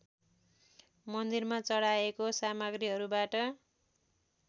मन्दिरमा चढाएको सामग्रीहरूबाट